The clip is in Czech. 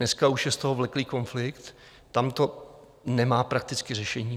Dneska už je z toho vleklý konflikt, tam to nemá prakticky řešení.